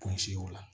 Kuncɛ o la